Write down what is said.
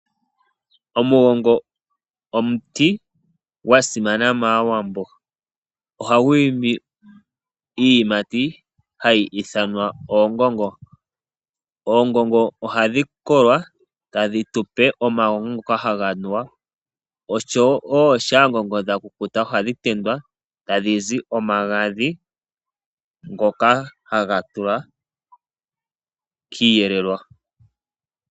Omugongo omuti gwasimana maawambo, ohagu i mi iiyimati hayi ithanwa oongongo. Oongongo ohadhi kolwa e tadhi tu pe omagongo ngoka haga nuwa, osho woo shampa oongongo dha kukuta ohadhi tendwa e tadhi zi omagadhi ngoka haga tulwa kiiyilelwa.